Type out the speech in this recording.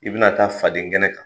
I bɛna taa faden kɛnɛ kan